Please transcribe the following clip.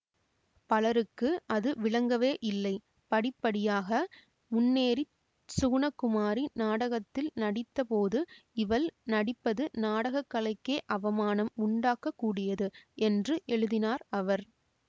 பலருக்கு அது விளங்கவே இல்லை படிப்படியாக முன்னேறி சுகுணகுமாரி நாடகத்தில் நடித்த போது இவள் நடிப்பது நாடக கலைக்கே அவமானம் உண்டாக்க கூடியது என்று எழுதினார் அவர்